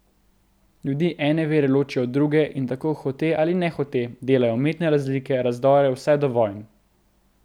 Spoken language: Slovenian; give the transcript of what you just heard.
Ljudi ene vere ločijo od druge in tako hote ali nehote delajo umetne razlike, razdore, vse do vojn.